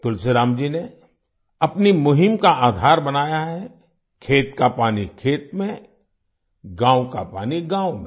तुलसीराम जी ने अपनी मुहिम का आधार बनाया है खेत का पानी खेत में गाँव का पानी गाँव में